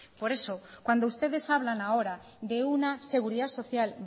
por eso cuando ustedes hablan ahora que una seguridad social